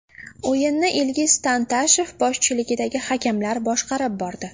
O‘yinni Ilgiz Tantashev boshchiligidagi hakamlar boshqarib bordi.